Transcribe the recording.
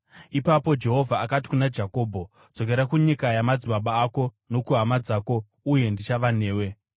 Ipapo Jehovha akati kuna Jakobho, “Dzokera kunyika yamadzibaba ako nokuhama dzako, uye ndichava newe.”